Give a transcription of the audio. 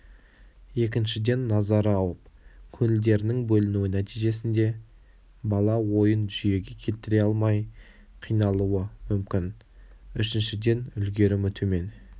екіншіден назары ауып көңілдерінің бөлінуі нәтижесінде бала ойын жүйеге келтіре алмай қиналуы мүмкін үшіншіден үлгерімі төмен